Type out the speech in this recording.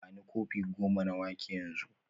Bani kofi goma na wake yanzu